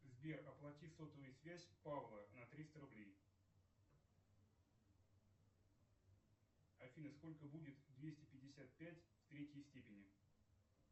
сбер оплати сотовую связь павла на триста рублей афина сколько будет двести пятьдесят пять в третей степени